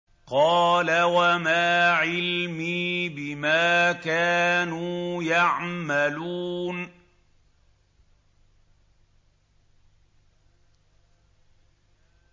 قَالَ وَمَا عِلْمِي بِمَا كَانُوا يَعْمَلُونَ